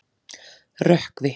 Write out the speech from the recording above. Rökkvi